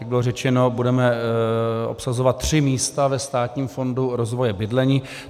Jak bylo řečeno, budeme obsazovat tři místa ve Státním fondu rozvoje bydlení.